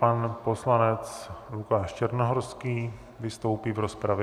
Pan poslanec Lukáš Černohorský vystoupí v rozpravě.